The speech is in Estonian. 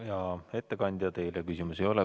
Hea ettekandja, teile küsimusi ei ole.